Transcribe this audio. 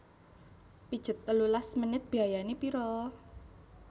Pijet telulas menit biayane piro?